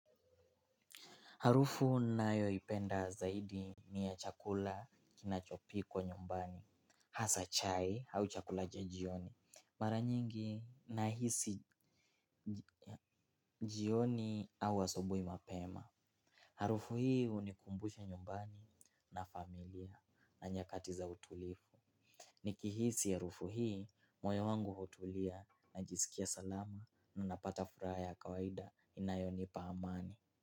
Harufu nayoipenda zaidi ni ya chakula kinachopikwa nyumbani, hasa chai au chakula cha jioni, mara nyingi nahisi jioni au asubui mapema. Harufu hii unikumbusha nyumbani na familia na nyakati za utulifu. Nikihisi harufu hii moyo wangu hutulia najisikia salama na napata furaha ya kawaida inayo nipa amani.